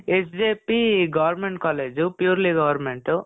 SJP , government college, purely government.